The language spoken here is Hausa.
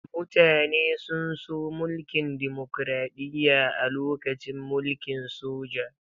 Mutane sun so mulkin dimokraɗiyya a lokacin mulkin soja.